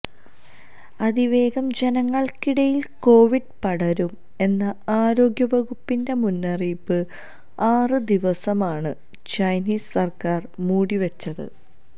അതിവേഗം ജനങ്ങള്ക്കിടയില് കൊവിഡ് പടരും എന്ന ആരോഗ്യ വകുപ്പിന്റെ മുന്നറിയിപ്പ് ആറ് ദിവസമാണ് ചൈനീസ് സര്ക്കാര് മൂടി വെച്ചത്